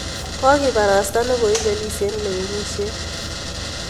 Kokiparasta ne koipelis eng' lewenisiet.